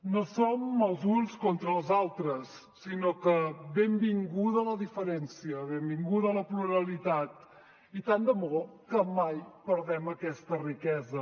no som els uns contra els altres sinó que benvinguda la diferència benvinguda la pluralitat i tant de bo que mai perdem aquesta riquesa